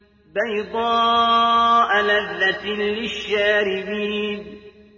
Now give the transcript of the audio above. بَيْضَاءَ لَذَّةٍ لِّلشَّارِبِينَ